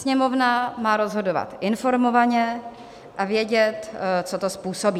Sněmovna má rozhodovat informovaně a vědět, co to způsobí.